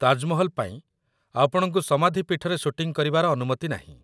ତାଜମହଲ ପାଇଁ, ଆପଣଙ୍କୁ ସମାଧି ପୀଠରେ ସୁଟିଂ କରିବାର ଅନୁମତି ନାହିଁ।